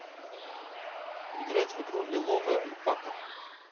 играть в игру лиловая альпака